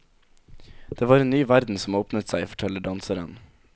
Det var en ny verden som åpnet seg, forteller danseren.